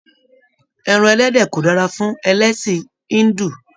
Ẹran ẹlẹdẹ ko dára fún ẹlẹsin Hindu.